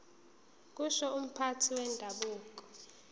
kusho umphathi wendabuko